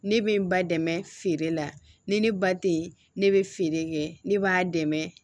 Ne bɛ n ba dɛmɛ feere la ni ne ba tɛ ye ne bɛ feere kɛ ne b'a dɛmɛ